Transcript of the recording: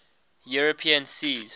european seas